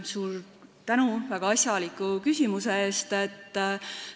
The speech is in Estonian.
Suur tänu väga asjaliku küsimuse eest!